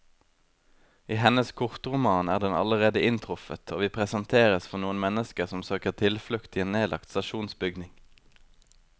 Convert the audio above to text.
I hennes kortroman er den allerede inntruffet, og vi presenteres for noen mennesker som søker tilflukt i en nedlagt stasjonsbygning.